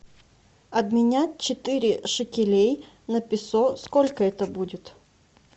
обменять четыре шекелей на песо сколько это будет